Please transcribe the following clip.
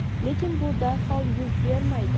lekin bu darhol yuz bermaydi.